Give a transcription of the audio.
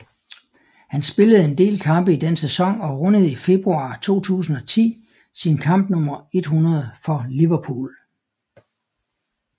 Han spillede en del kampe i den sæson og rundede i februar 2010 sin kamp nummer 100 for Liverpool